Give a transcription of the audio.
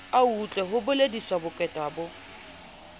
autlwe ho bolediswa bokweta bo